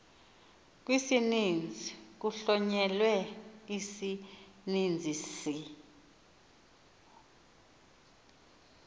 kwisininzi kuhlonyelwe isininzisi